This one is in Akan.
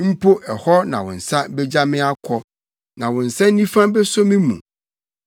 mpo hɔ na wo nsa begya me akɔ, na wo nsa nifa beso me mu.